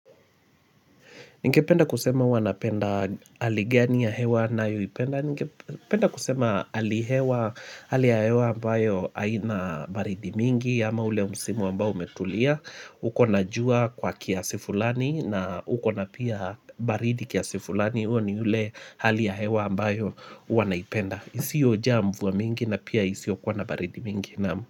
Ningependa kusema uanapenda haligani ya hewa na yuipenda. Ningependa kusema alihewa hali ya hewa ambayo haina baridi mingi ama ule umsimu ambayo umetulia. Ukona jua kwa kiasi fulani na ukona pia baridi kiasi fulani ule hali ya hewa ambayo wanaipenda. Isio ja mvua mingi na pia isio kwa na baridi mingi.